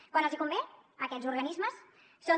quan els convé aquests organismes són